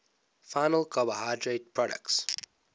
final carbohydrate products